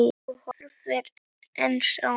Þú horfir eins á mig.